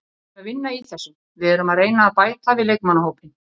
Við erum að vinna í þessu, við erum að reyna að bæta við leikmannahópinn